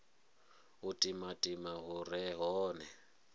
u timatima hu re hone